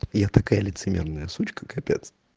я такая лицемерная сучка капец